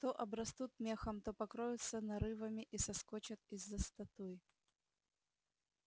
то обрастут мехом то покроются нарывами и выскочат из-за статуй